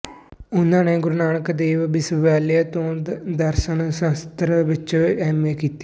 ਉਹਨਾਂ ਨੇ ਗੁਰੂ ਨਾਨਕ ਦੇਵ ਵਿਸ਼ਵਵਿਆਲਿਆ ਤੋਂ ਦਰਸ਼ਨ ਸ਼ਾਸ਼ਤਰ ਵਿੱਚ ਵਿੱਚ ਐਮ ਏ ਕੀਤੀ